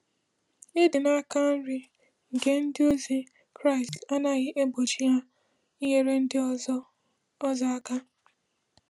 Ịdị n’aka nri nke ndị ozi Kraịst anaghị egbochi ha inyere ndị ọzọ ọzọ aka.